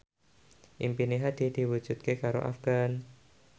impine Hadi diwujudke karo Afgan